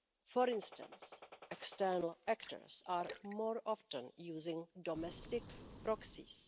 For instance, external actors are more often using domestic proxies.